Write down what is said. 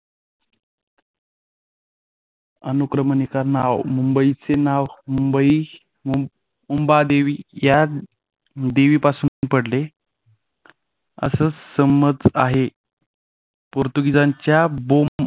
अनुक्रमणिका नाव मुंबईचे नाव मुंबई मुंबादेवी पासून पडले असं समज आहे पोर्तुगीजांच्या